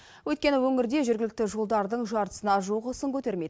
өйткені өңірде жергілікті жолдардың жартысына жуығы сын көтермейді